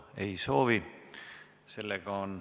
Ei soovi.